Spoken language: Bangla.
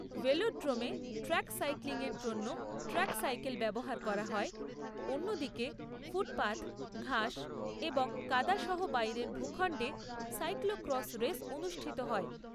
ভেলোড্রোমে ট্র্যাক সাইক্লিং এর জন্য ট্র্যাক সাইকেল ব্যবহার করা হয়, অন্যদিকে ফুটপাথ, ঘাস এবং কাদা সহ বাইরের ভূখণ্ডে সাইক্লো ক্রস রেস অনুষ্ঠিত হয়।